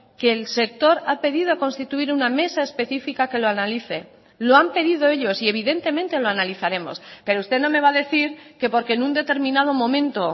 que el sector ha pedido constituir una mesa específica que lo analice lo han pedido ellos y evidentemente lo analizaremos pero usted no me va a decir que porque en un determinado momento